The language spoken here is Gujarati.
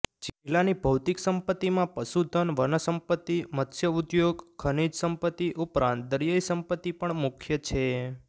જિલ્લાની ભૌતિક સંપતિમાં પશુધન વનસંપતિને મત્સ્યઉઘોગ ખનીજ સંપતિ ઉપરાંત દરીયાઇ સંપતિ પણ મુખ્ય છે